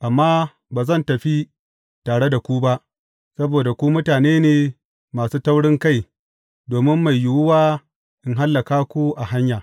Amma ba zan tafi tare da ku ba, saboda ku mutane ne masu taurinkai domin mai yiwuwa in hallaka ku a hanya.